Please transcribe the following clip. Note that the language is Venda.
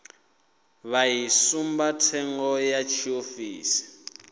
vha i tsumbathengo ya tshiofisi